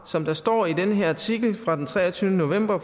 som der står i den her artikel fra den treogtyvende november